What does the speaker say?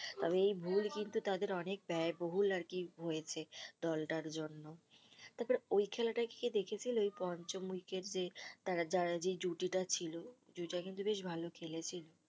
তবে এই ভুল কিন্তু তাদের অনেক ব্যায়বহুল আরকি হয়েছে দলটার জন্য ওই খেলাটা কি দেখেছিলে ওই পঞ্চম ইউকেটে তারা যেই জুটিটা ছিল জুটিটা কিন্ত বেশ ভালো খেলেছিল